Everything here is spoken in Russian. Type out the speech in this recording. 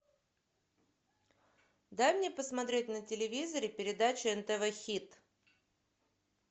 дай мне посмотреть на телевизоре передачу нтв хит